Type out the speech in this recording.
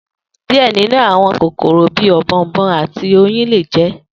Diẹ ninu awọn kokoro bi ọ̀bọ̀ọ̀nbọọ̀n ati oyin le jẹ.